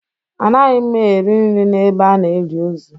Anaghị m eri nri n'ebe a na-eli ozu